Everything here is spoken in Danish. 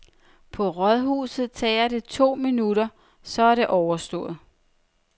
På rådhuset tager det to minutter, og så er det overstået.